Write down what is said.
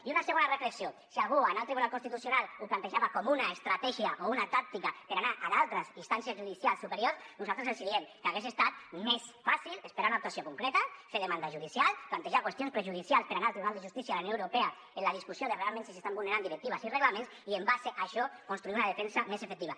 i una segona reflexió si algú anar al tribunal constitucional ho plantejava com una estratègia o una tàctica per anar a d’altres instàncies judicials superiors nosaltres els diem que hagués estat més fàcil esperar una actuació concreta fer demanda judicial plantejar qüestions prejudicials per anar al tribunal de justícia de la unió europea en la discussió de realment si s’estan vulnerant directives i reglaments i en base a això construir una defensa més efectiva